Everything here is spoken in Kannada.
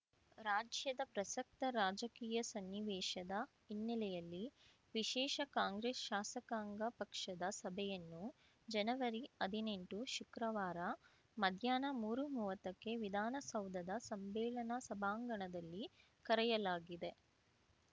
ರಾಜ್ಯದ ಪ್ರಸಕ್ತ ರಾಜಕೀಯ ಸನ್ನಿವೇಶದ ಹಿನ್ನೆಲೆಯಲ್ಲಿ ವಿಶೇಷ ಕಾಂಗ್ರೆಸ್‌ ಶಾಸಕಾಂಗ ಪಕ್ಷದ ಸಭೆಯನ್ನು ಜನವರಿಹದಿನೆಂಟು ಶುಕ್ರವಾರ ಮಧ್ಯಾಹ್ನ ಮೂರುಮುವ್ವತ್ತಕ್ಕೆ ವಿಧಾನಸೌಧದ ಸಮ್ಮೇಳನ ಸಭಾಂಗಣದಲ್ಲಿ ಕರೆಯಲಾಗಿದೆ